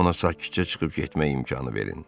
Ona sakitcə çıxıb getmək imkanı verin.